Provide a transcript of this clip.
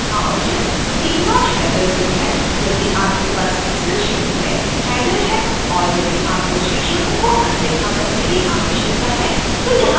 चौथा option ignore header row है